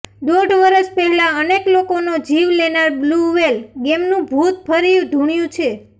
દોઢ વર્ષ પહેલા અનેક લોકોને જીવ લેનાર બ્લૂ વ્હેલ ગેમનું ભૂત ફરી ધૂણ્યું છે